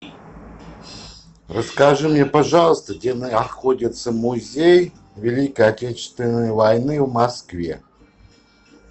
расскажи мне пожалуйста где находится музей великой отечественной войны в москве